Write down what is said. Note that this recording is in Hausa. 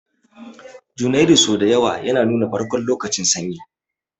Janairu sau da yawa yana nuna farkon lokacin Sanyi